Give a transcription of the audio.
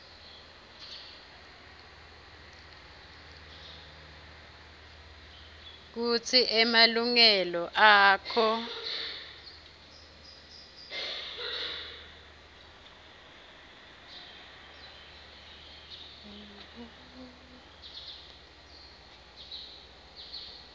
kutsi emalungelo akho